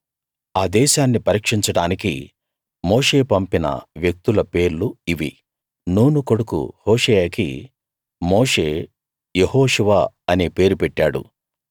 ఆ దేశాన్ని పరీక్షించడానికి మోషే పంపిన వ్యక్తుల పేర్లు ఇవి నూను కొడుకు హోషేయకి మోషే యెహోషువ అనే పేరు పెట్టాడు